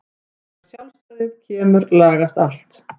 Þegar sjálfstæðið kemur lagast allt.